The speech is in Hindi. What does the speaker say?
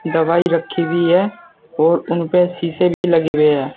दवाई रखी हुई है और उन पे शीशे भी लगे हुए हैं।